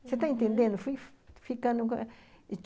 Você está entendendo? Foi ficando